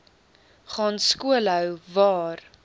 gaan skoolhou waar